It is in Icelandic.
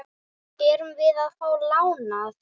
Erum við að fá lánað?